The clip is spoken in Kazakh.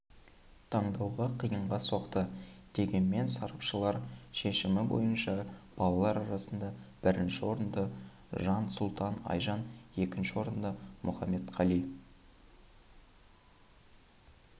таңдауға қиынға соқты дегенмен сарапшылар шкешімі бойынша балалар арасында бірінші орынды жансұлтан айжан екінші орынды мухамбеткали